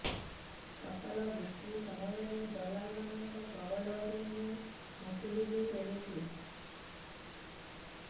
ଫସଲ ବିକ୍ରୀ ସମୟରେ ଦଲାଲ୍ ମାନଙ୍କ କବଳରୁ ମୁଁ ମୁକୁଳିଵି କେମିତି